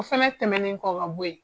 O fɛnɛ tɛmɛnnen kɔ ka bɔ ye.